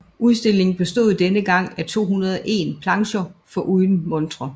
Udstillingen bestod denne gang af 201 plancher foruden montrer